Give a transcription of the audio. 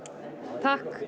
takk